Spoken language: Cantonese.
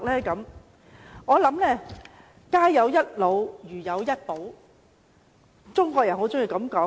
中國人常說，家有一老，如有一寶。